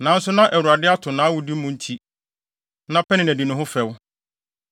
Nanso na Awurade ato nʼawode mu nti, na Penina di ne ho fɛw.